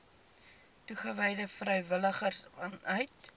toegewyde vrywilligers vanuit